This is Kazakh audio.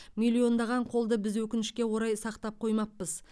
миллиондаған қолды біз өкінішке орай сақтап қоймаппыз